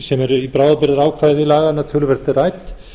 sem er í bráðabirgðaákvæði laganna töluvert rædd